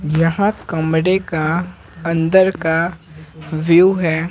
यहां कमरे का अंदर का व्यू है।